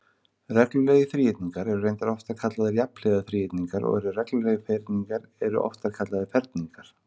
Reglulegir þríhyrningar eru reyndar oftar kallaðir jafnhliða þríhyrningar og reglulegir ferhyrningar eru oftar kallaðir ferningar.